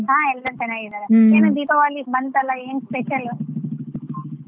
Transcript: ಹಾ ಎಲ್ರೂ ಚೆನ್ನಾಗಿದ್ದಾರೆ ಏನು ದೀಪಾವಳಿ ಬಂತಲ್ಲ ಏನ್ special .